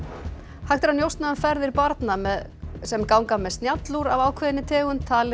hægt er að njósna um ferðir barna sem ganga með af ákveðinni tegund talið er